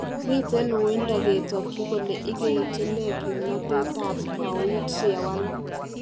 Miten uindo ketakyi kole igeitun neeh kimnatet ab Pauit yewalak